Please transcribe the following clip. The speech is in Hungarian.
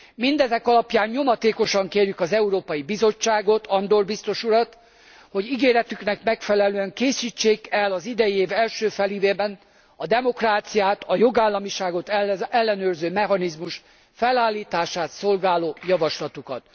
Mindezek alapján nyomatékosan kérjük az Európai Bizottságot, Andor biztos urat, hogy ígéretüknek megfelelően készítsék el az idei év első félévében a demokráciát, a jogállamiságot ellenőrző mechanizmus felállítását szolgáló javaslatukat.